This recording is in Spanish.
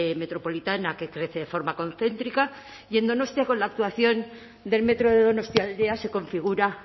metropolitana que crece de forma concéntrica y en donostia con la actuación del metro de donostialdea se configura